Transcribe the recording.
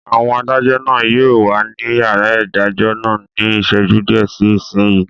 Àwọn adájọ́ náà yóò wà ní yàrá ìdájọ́ náà ní ìṣẹ́jú díẹ̀ sí ìsinyìí